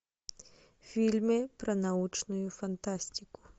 фильмы про научную фантастику